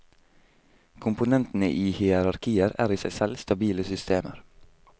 Komponentene i hierarkier er i seg selv stabile systemer.